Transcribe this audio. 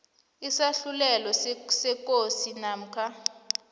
isahlulelo sekosi namkha